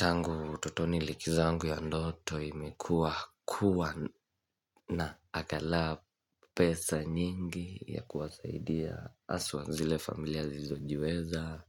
Tangu utotoni liki zangu ya ndoto imekua kuwa na angalau pesa nyingi ya kuwasaidia haswa zile familia sisizojiweza,